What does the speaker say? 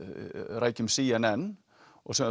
rækjum c n n og